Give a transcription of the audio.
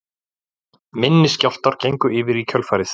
Minni skjálftar gengu yfir í kjölfarið